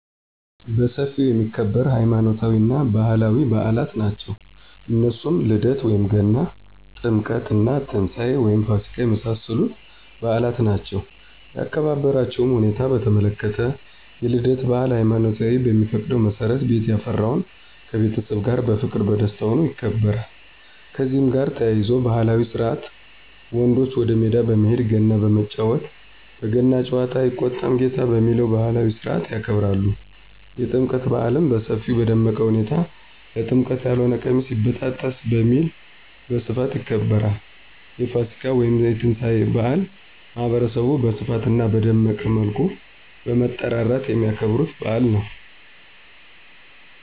በሰፊው የሚከበር ሃይማኖታዊ እና ባህላዊ ብአላት ናቸው እነሱም ልደት(ገና ) :ጥምቀት እና ትንሳኤ(ፋሲካ) የመሳሰሉት ብአላት ናቸው ያከባበራቸዉ ሁኔታ በተመለከተ፣ የልደት ብአል ሃይማኖቱ በሚፈቅደው መሠረት ቤት ያፈራውን ከቤተሰብ ጋር በፍቅር በደስታ ሁኖ ይከበራል። ከዚህ ጋር ተያይዞ ባህላዊ ስርአት ወንዶች ወደ ሜዳ በመሄድ ገና በመጫወት በገና ጨዋታ አይቆጣም ጌታ በሚለው ባህላዊ ስርአት ያከብራሉ። የጥምቀት ብአልም በሰፊው በደመቀ ሁኔታ ለጥምቀት ያልሆነ ቀሚስ ይበጣጠስ በሚል በስፋት ይከበራል። የፋሲካ (የትንሳኤ) ብአል ማህበረሰቡ በስፋት አና በደመቀ መልኩ በመጠራራት የሚያከብሩት ብአል ነው።